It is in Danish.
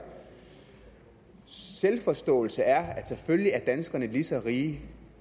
selvforståelse er at selvfølgelig er danskerne lige så rige